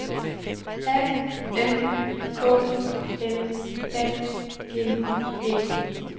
A N K L A G E